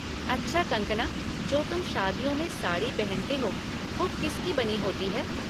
अच्छा कंगकना, जो तुम शादियों में साड़ी पहनते हो वो किस की बनी होती है?